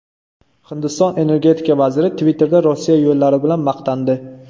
Hindiston energetika vaziri Twitter’da Rossiya yo‘llari bilan maqtandi.